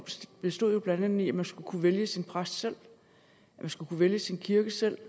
bestod blandt andet i at man skulle kunne vælge sin præst selv at man skulle kunne vælge sin kirke selv